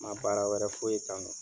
Ma baara wɛrɛ foyi Kanu